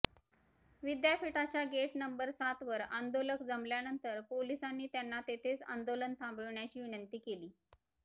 विद्यापीठाच्या gate number सातवर आंदोलक जमल्यानंतर पोलिसांनी त्यांना तेथेच आंदोलन थांबविण्याची विनंती केली